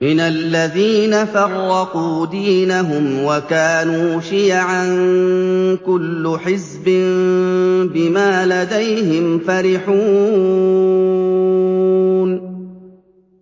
مِنَ الَّذِينَ فَرَّقُوا دِينَهُمْ وَكَانُوا شِيَعًا ۖ كُلُّ حِزْبٍ بِمَا لَدَيْهِمْ فَرِحُونَ